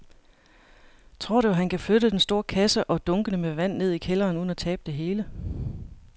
Tror du, at han kan flytte den store kasse og dunkene med vand ned i kælderen uden at tabe det hele?